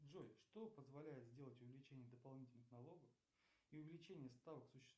джой что позволяет сделать увеличение дополнительных налогов и увеличение ставок